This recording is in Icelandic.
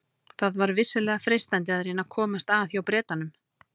Það var vissulega freistandi að reyna að komast að hjá Bretanum.